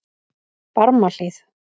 Barmahlíð